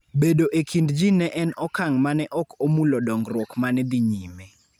Bedo e kind ji ne en okang ' ma ne ok omulo dongruok ma ne dhi nyime.